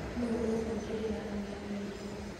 Nũũ ũgwĩkĩrĩra ageni irio?